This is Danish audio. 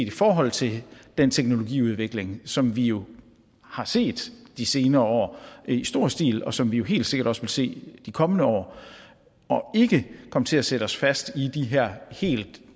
i forhold til den teknologiudvikling som vi jo har set de senere år i stor stil og som vi helt sikkert også vil se de kommende år og ikke komme til at sætte os fast i de her helt